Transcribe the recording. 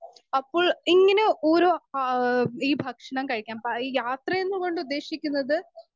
speaker 1 അപ്പോൾ ഇങ്ങനെ ഓരോ ആഹ് ഈ ഭക്ഷണം കഴിക്കാൻ ഈ യാത്ര കൊണ്ടുദ്ദേശിക്കുന്നത്